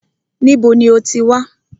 Níbo ní o ti wá?